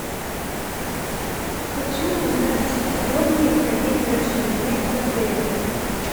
хочу узнать подробнее про день рождения в отеле